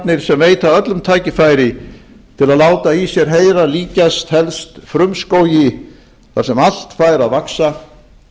netheimarnir sem veita öllum tækifæri til að láta í sér heyra líkjast helst frumskógi þar sem allt fær að vaxa